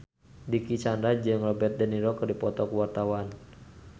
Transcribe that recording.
Dicky Chandra jeung Robert de Niro keur dipoto ku wartawan